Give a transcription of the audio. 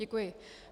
Děkuji.